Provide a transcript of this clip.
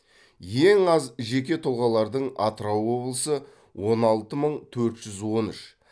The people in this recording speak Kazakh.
ең аз жеке тұлғалардың атырау облысы он алты мың төрт жүз он үш